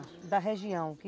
da região que